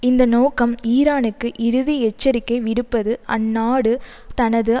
இந்த நோக்கம் ஈரானுக்கு இறுதி எச்சரிக்கை விடுப்பது அந்நாடு தனது